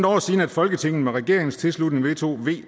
år siden at folketinget med regeringens tilslutning vedtog v